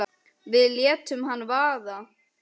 Við létum hana vaða.